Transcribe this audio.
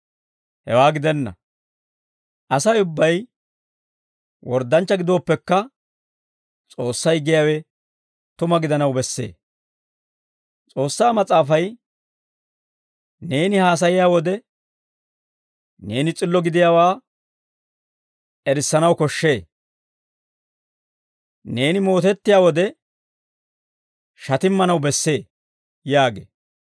Hewaa gidenna; Asay ubbay worddanchchaa gidooppekka, S'oossay giyaawe tuma gidanaw bessee. S'oossaa Mas'aafay, «Neeni haasayiyaa wode, neeni s'illo gidiyaawaa erissanaw koshshee; neeni mootettiyaa wode, shatimmanaw bessee» yaagee.